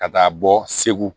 Ka taa bɔ segu